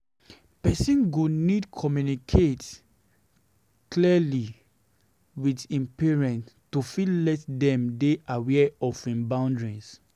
Person go need to communicate clearly with im parents to fit let dem dey aware of im boundaries